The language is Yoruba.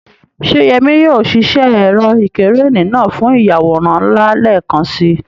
Ṣé Yemi yóò ṣiṣẹ́ ẹ̀rọ ìkẹ́rẹ́nì náà fún ìyàwòrán ńlá lẹ́ẹ̀kan si?